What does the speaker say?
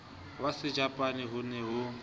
wa sejapane ho ne ho